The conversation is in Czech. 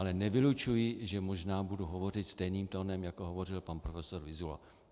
Ale nevylučuji, že možná budu hovořit stejným tónem, jako hovořil pan prof. Vyzula.